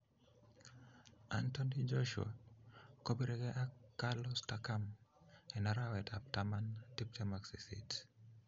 Anthony Joshuo kopirege ag carlos takaam en arawet ap taman 28